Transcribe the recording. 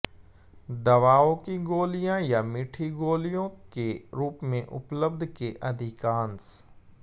दवाओं की गोलियाँ या मीठी गोलियों के रूप में उपलब्ध के अधिकांश